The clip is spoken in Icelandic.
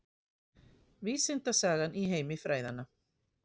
Vísindasagan í heimi fræðanna